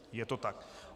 Je to tak.